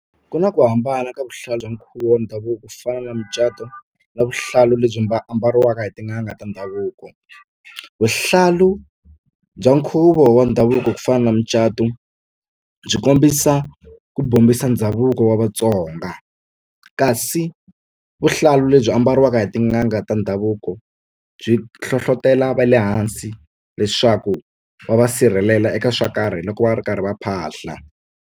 Ku na ku hambana ka vuhlalu bya nkhuvo wa ndhavuko ku fana na mucato na vuhlalu lebyi ambariwaka hi tin'anga ta ndhavuko vuhlalu bya nkhuvo wa ndhavuko ku fana na mucato byi kombisa ku bombisa ndhavuko wa Vatsonga kasi vuhlalu lebyi ambariwaka hi tin'anga ta ndhavuko byi hlohlotela va le hansi leswaku va va sirhelela eka swo karhi loko va ri karhi va phahla.